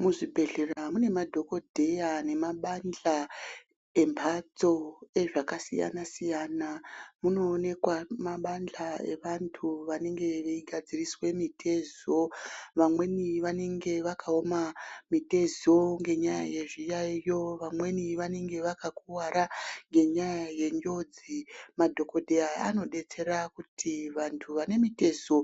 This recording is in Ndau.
Muzvibhedhlera mune madhokodheya nemabandla embatso ezvakasiyana-siyana, munoonekwa mabandla evantu vanenge veigadziriswe mitezo vamweni vanenge vakaoma mitezo ngenyaya yezviyaiyo vamweni vanenge vakakuwara ngenya yenjodzi. Madhokodheya anodetsera kuti vantu vane mitezo